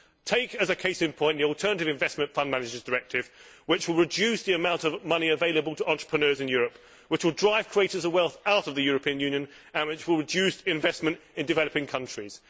Take as a case in point the Directive on Alternative Investment Fund Managers, which will reduce the amount of money available to entrepreneurs in Europe, which will drive creators of wealth out of the European Union, and which will reduce investment in developing countries.